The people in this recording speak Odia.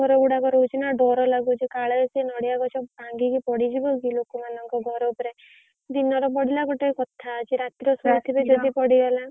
ଗୁଡାକ ରହୁଛି ନା ଡର ଲାଗୁଛି କାଳେ ସେ ନଡିଆ ଗଛ ଭାଂଗିକି ପଡିଯିବକି ଲୋକମନଂକ ଘର ଉପରେ, ଦିନର ପଡିଲା ଗୋଟେ କଥା ଅଛି ଯଦି ରାତିରେ ପଡିଲା